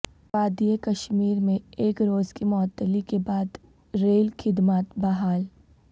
وادی کشمیر میں ایک روز کی معطلی کے بعد ریل خدمات بحال